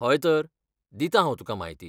हय तर, दितां हांव तुका म्हायती.